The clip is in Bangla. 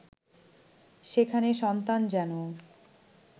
সেখানে সন্তান যেন